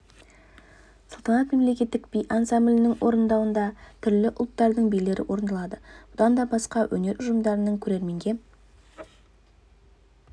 салтанат мемлекеттік би ансамблінің орындауында түрлі ұлттардың билері орындалады бұдан да басқа өнер ұжымдарының көрерменге